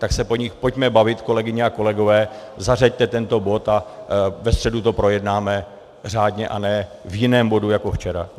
Tak se o nich pojďme bavit, kolegyně a kolegové, zařaďte tento bod a ve středu to projednáme řádně a ne v jiném bodu jako včera.